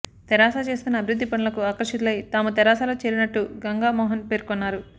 తెరాస చేస్తున్న అభివృద్ది పనులకు ఆకర్షితులై తాము తెరాసలో చేరినట్టు గంగామోహన్ పేర్కొన్నారు